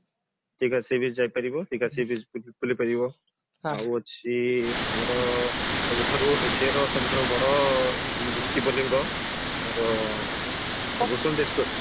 Digha seabeach ଯାଇପାରିବ Digha seabeach ବୁଲିପାରିବ ଆଉ ଅଛି ଆମର ସବୁଠାରୁ Asia ର ସବୁଠାରୁ ବଡ ଶିବଲିଙ୍ଗ ଆମର ଭୂଶଣ୍ଢେଶ୍ଵର